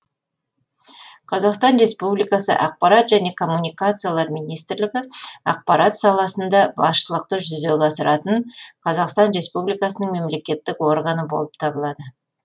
қазақстан республикасы ақпарат және коммуникациялар министрлігі ақпарат салаларында басшылықты жүзеге асыратын қазақстан республикасының мемлекеттік органы болып табылады